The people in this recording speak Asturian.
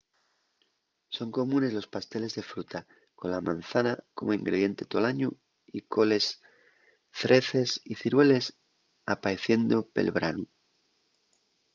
son comunes los pasteles de fruta con la mazana como ingrediente tol añu y coles zreces y cirueles apaeciendo pel branu